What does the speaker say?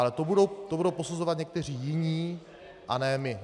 Ale to budou posuzovat někteří jiní a ne my.